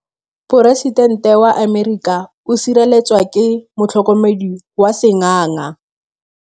Poresitêntê wa Amerika o sireletswa ke motlhokomedi wa sengaga.